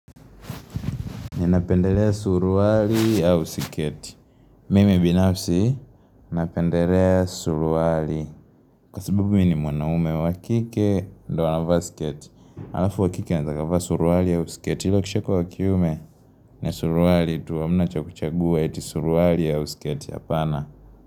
Ninapendelea suruwali au siketi. Mimi binafsi, napendelea suruwali. Kwa sababu mimi ni mwanaume wakike, ndo wanava sketi. Alafu wakike anaezakafa suruwali ya sketi. Hilo kishako wakiume, ni suruwali, tuwa mna cha kuchagua, yeti suruwali ya usiketi. Hapana.